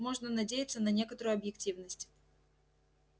можно надеяться на некоторую объективность